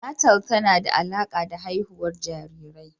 Natal tana da alaƙa da haihuwar jarirai.